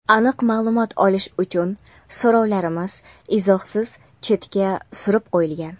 aniq ma’lumot olish uchun so‘rovlarimiz izohsiz chetga surib qo‘yilgan.